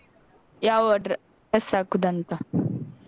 ಯಾವ dress ಹಾಕುದಂತ.